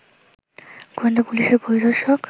গোয়েন্দা পুলিশের পরিদর্শক